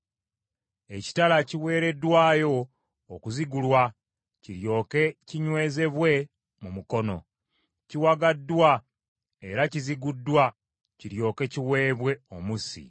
“ ‘Ekitala kiweereddwayo okuzigulwa kiryoke kinywezebwe mu mukono; kiwagaddwa era kiziguddwa, kiryoke kiweebwe omussi.